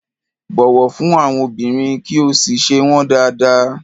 Bọ̀wọ̀ fún àwọn obìnrin, kí o sì ṣe wọ́n dáádáa.